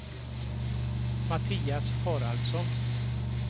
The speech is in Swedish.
Mattias Haraldsson